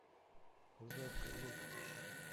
жаркое лето